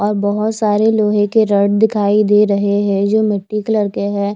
और बहुत सारे लोहे के रड दिखाई दे रहे है जो मिट्टी कलर के हैं।